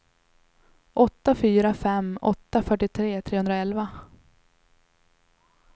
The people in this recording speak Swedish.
åtta fyra fem åtta fyrtiotre trehundraelva